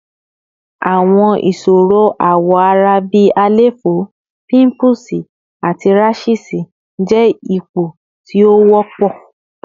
Awọn iṣoro awọ ara bi àléfọ, pimples, ati rashes jẹ awọn ipo ti o wọpọ